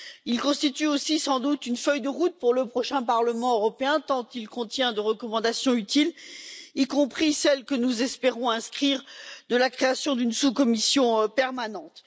Il constitue aussi, sans doute, une feuille de route pour le prochain Parlement européen tant il contient de recommandations utiles, y compris celle que nous espérons inscrire de la création d'une sous commission permanente.